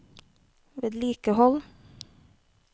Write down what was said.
vedlikehold